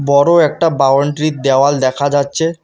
বড়ো একটা বাউন্ডারি -র দেওয়াল দেখা যাচ্ছে।